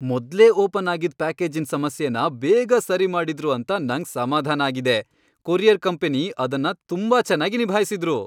ಮೊದ್ಲೇ ಓಪನ್ ಆಗಿದ್ ಪ್ಯಾಕೇಜಿನ್ ಸಮಸ್ಯೆನ ಬೇಗನೆ ಸರಿ ಮಾಡಿದ್ರು ಅಂತ ನಂಗ್ ಸಮಾಧಾನ ಆಗಿದೆ. ಕೊರಿಯರ್ ಕಂಪನಿ ಅದನ್ ತುಂಬಾ ಚೆನ್ನಾಗಿ ನಿಭಾಯಿಸಿದ್ರು.